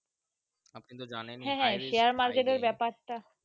আপনি তো জানেনই Share market এর ব্যাপার টা।